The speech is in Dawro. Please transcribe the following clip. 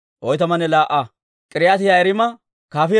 Laa"entso Elaama katamaa Asay 1,254.